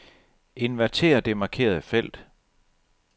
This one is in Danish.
Inverter det markerede felt.